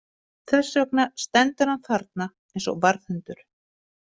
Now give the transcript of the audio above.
Þess vegna stendur hann þarna eins og varðhundur.